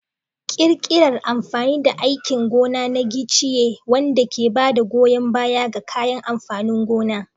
Ƙirƙirar amfani da aikin gona na giciye, wanda ke ba da goyon baya ga kayan amfanin gona.